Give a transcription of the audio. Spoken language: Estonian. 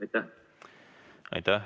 Aitäh!